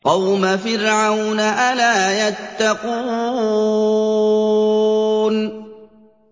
قَوْمَ فِرْعَوْنَ ۚ أَلَا يَتَّقُونَ